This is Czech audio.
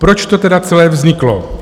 Proč to teda celé vzniklo?